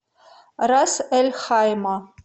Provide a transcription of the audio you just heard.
рас эль хайма